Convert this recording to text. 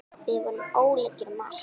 Við vorum ólíkir um margt.